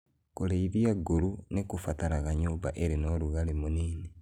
Kũrĩithia nguru nĩ kũbataraga nyũmba ĩrĩ na ũrugarĩ mũnĩnĩ.